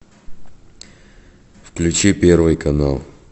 включи первый канал